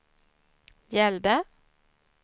gällde